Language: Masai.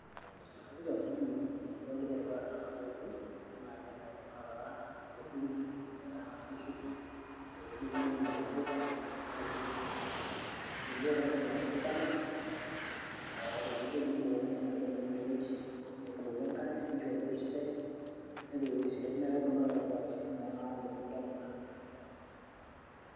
ekajoki oltung'ani ore entoki e dukuya naifaa peeyiolou naa piing'oru kuna arara nedung aitaa nusu ore piidip nepik inkulupuok naitushul ake inkulupuok naitushul ake nkulupuok naitushulakaki olchala ee ore piidip nebukoki nena aitubulu ine wueji nebukoki enkare nisho oloip sidai nepik ewueji sidai naa kebulu ake aitobiraki enaa tenakata enetubulutua kuna.